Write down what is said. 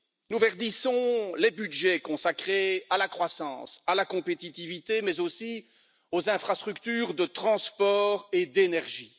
Nous verdissons les budgets consacrés à la croissance, à la compétitivité, mais aussi aux infrastructures de transport et d'énergie.